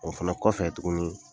O fana kɔfɛ tuguni.